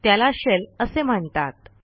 त्याला शेल असे म्हणतात